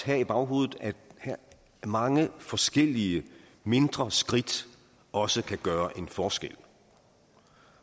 have i baghovedet at mange forskellige mindre skridt også kan gøre en forskel